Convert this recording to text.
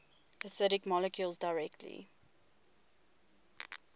acidic molecules directly